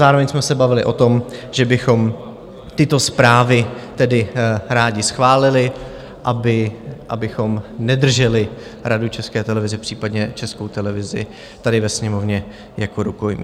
Zároveň jsme se bavili o tom, že bychom tyto zprávy tedy rádi schválili, abychom nedrželi Radu České televize, případně Českou televizi tady ve Sněmovně jako rukojmí.